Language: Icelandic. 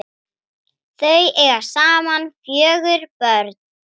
Kvendýr sels nefnist urta.